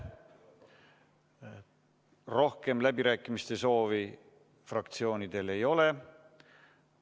Rohkem läbirääkimiste soovi fraktsioonidel ei ole.